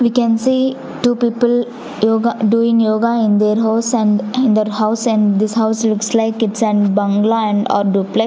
we can see two people yoga doing yoga in their house and and their house and this house looks like its an bangalow or duplex.